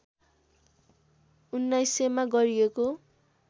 १९०० मा गरिएको